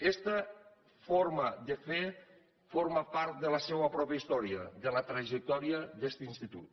esta forma de fer forma part de la seua pròpia història de la trajectòria d’este institut